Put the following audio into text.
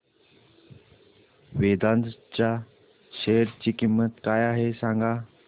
वेदांत च्या शेअर ची किंमत काय आहे सांगा